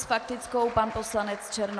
S faktickou pan poslanec Černoch.